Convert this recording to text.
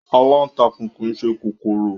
Aláǹtakùn kìí ṣe kòkòrò